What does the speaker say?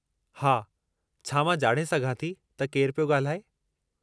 हा, छा मां ॼाणे सघां थी त केरु पियो ॻाल्हाए?